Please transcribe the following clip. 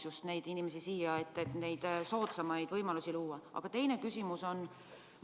Kuidas võiks inimesi siia meelitada, neile soodsamaid võimalusi luues?